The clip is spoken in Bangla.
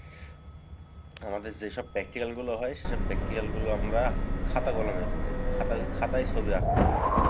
আমাদের যেসব practical গুলো হয় সেসব practical গুলো আমরা খাতা কলমে করে খাতাখাতায় ছবি আঁকতে হয়।